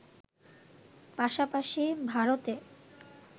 পাশাপাশি ভারতে